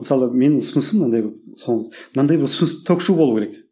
мысалы менің ұсынысым мынандай мынадай бір ұсыныс ток шоу болу керек